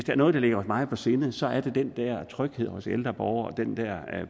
er noget der ligger os meget på sinde så er det den der tryghed hos ældre borgere og den der